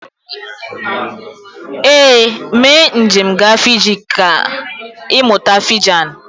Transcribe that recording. Ee, mee njem gaa Fiji ka kà ịmụta Fijan.